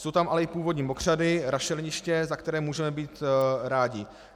Jsou tam ale i původní mokřady, rašeliniště, za které můžeme být rádi.